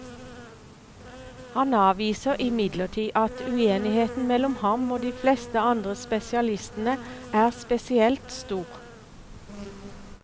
Han avviser imidlertid at uenigheten mellom ham og de fleste andre spesialistene er spesielt stor.